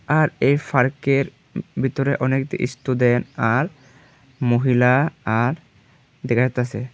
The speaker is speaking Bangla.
আর এই ফার্কের উম ভিতরে অনেক-দি স্টুডেন্ট আর মহিলা আর দেখাইতাসে।